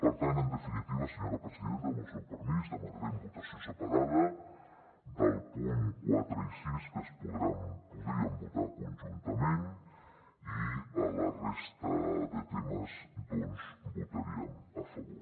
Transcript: per tant en definitiva senyora presidenta amb el seu permís demanarem votació separada dels punts quatre i sis que podríem votar conjuntament i a la resta de temes doncs votaríem a favor